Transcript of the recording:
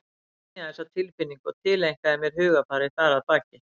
Ég skynjaði þessa tilfinningu og tileinkaði mér hugarfarið þar að baki.